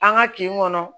An ka kin kɔnɔ